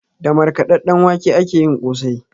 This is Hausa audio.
Da markaɗaɗɗen wake akeyin kosai